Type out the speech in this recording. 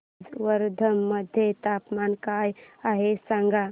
आज वर्धा मध्ये तापमान काय आहे सांगा